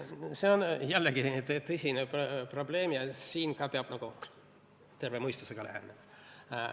Seegi on tõsine probleem ja siin ka peab nagu terve mõistusega lähenema.